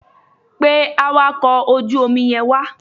Pe awakọ̀ ojú omi yẹn wá.